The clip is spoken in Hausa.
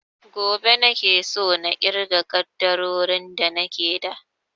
Gobe nake so na irga ƙaddarorin da nake da